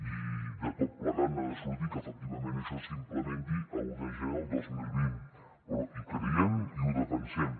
i de tot plegat n’ha de sortir que efectivament això s’implementi a un de gener de dos mil vint però hi creiem i ho defensem